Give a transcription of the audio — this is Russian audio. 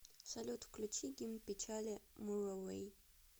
салют включи гимн печали муровей